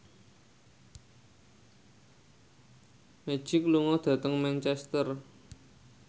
Magic lunga dhateng Manchester